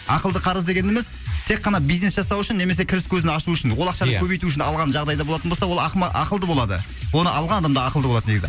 ақылды қарыз дегеніміз тек қана бизнес жасау үшін немесе кіріс көзін ашуы үшін ол ақшаны ия көбейту үшін алған жағдайда болатын болса ол ақылды болады оны алған адам да ақылды болады негізі